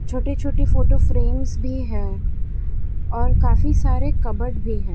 छोटी छोटी photo frames भीं हैं और काफी सारे कबड भीं हैं।